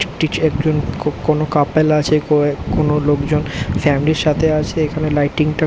একজন ক্যাফে কোন কাপল আছে ক্যাফে কোন লোকজন ফ্যামিলি -র সাথে আছে এখানে লাইটিং -টা--